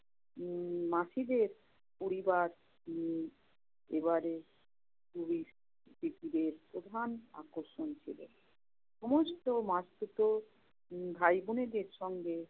উম মাসীদের পরিবার উম এবারে সুবিত প্থিবীর প্রধান আকর্ষণ ছিল। সমস্ত মাসতুতো উম ভাইবোনেদের সঙ্গে